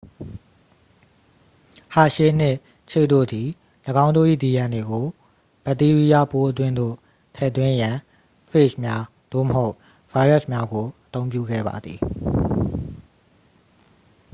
ဟာရှေး နှင့် ချေ့ တို့သည် ၎င်းတို့၏ dna ကို ဗက်တီးရီးယားပိုးအတွင်းသို့ ထည့်သွင်းရန် ဖေ့ဂျ်များ သို့မဟုတ် ဗိုင်းရပ်စ်များကို အသုံးပြုခဲ့ပါသည်